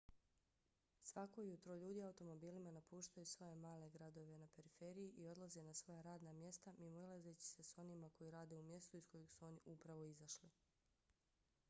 svako jutro ljudi automobilima napuštaju svoje male gradove na periferiji i odlaze na svoja radna mjesta mimoilazeći se s onima koji rade u mjestu iz kojeg su oni upravo izašli